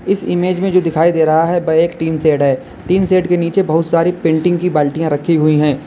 इस इमेज में जो दिखाई दे रहा है वह एक टीनसेड है टीनसेड के नीचे बहुत सारी पेंटिंग्स की बाल्टियां रखी हुई है।